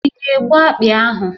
Ị ga-egbu akpị ahụ?